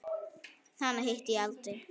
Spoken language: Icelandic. Hana hitti ég aldrei.